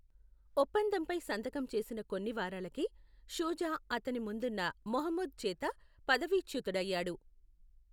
ఒప్పందంపై సంతకం చేసిన కొన్ని వారాలకే, షుజా అతని ముందున్న మహమూద్ చేత పదవీచ్యుతుడయ్యాడు.